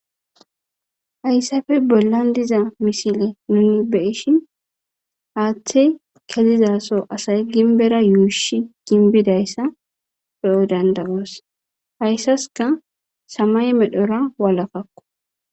Hayssafe bollan diza misile nuni beyishin haaththe kezizaso asay ginbera yuushi ginbidayssa pe7o dandagoos hayssaska samay medhora walakakko